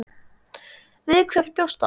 Við hverju bjóst hann?